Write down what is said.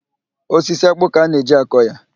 Osisi ákpụ́ ka a na-eji akọ ya.